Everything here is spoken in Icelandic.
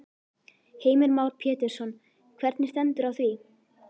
Heimir Már Pétursson: Hvernig stendur á því?